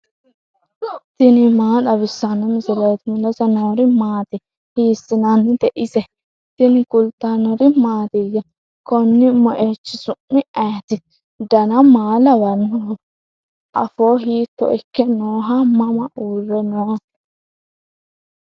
tini maa xawissanno misileeti ? mulese noori maati ? hiissinannite ise ? tini kultannori mattiya? Konni moichchi su'mi ayiitti? Danna maa lawannoho? affo hiitto ikke nooho? Mama uure noo?